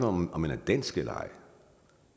om om man er dansk eller ej